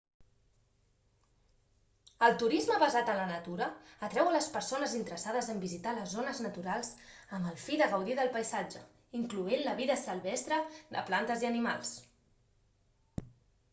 el turisme basat en la natura atrau a les persones interessades en visitar les zones naturals amb el fi de gaudir del paisatge incloent la vida silvestre de plantes i animals